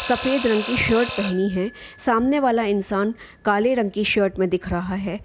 सफेद रंग की शर्ट पहनी है | सामने वाला इंसान काले रंग की शर्ट मे दिख रहा है ।